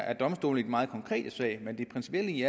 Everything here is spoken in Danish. er domstolen i den meget konkrete sag men det principielle i